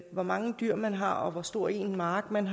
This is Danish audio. hvor mange dyr man har og hvor stor en mark man